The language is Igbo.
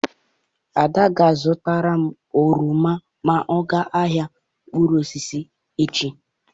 Ada ga-azụtara m oroma ma ọ gaa ahịa mkpụrụ osisi echi.